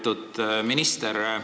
Lugupeetud minister!